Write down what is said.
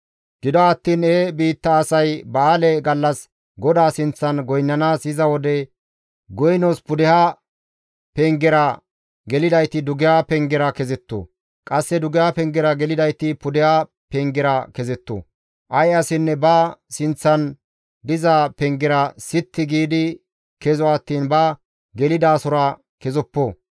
« ‹Gido attiin he biitta asay ba7aale gallas GODAA sinththan goynnanaas yiza wode, goynos pudeha bagga pengera gelidayti dugeha bagga pengera kezetto; qasse dugeha bagga pengera gelidayti pudeha bagga pengera kezetto. Ay asinne ba sinththan diza pengera sitti giidi kezo attiin ba gelidasora kezoppo.